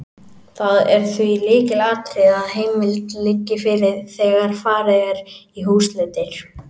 Það er því lykilatriði að heimild liggi fyrir þegar farið er í húsleitir.